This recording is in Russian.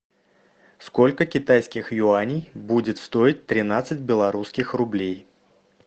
сколько китайских юаней будет стоить тринадцать белорусских рублей